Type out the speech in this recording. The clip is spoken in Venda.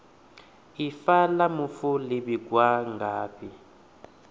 ifa la mufu li vhigwa ngafhi